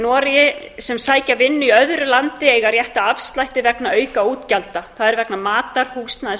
noregi sem sækja vinnu í öðru landi eiga rétt á afslætti vegna aukaútgjalda það er vegna matar húsnæðis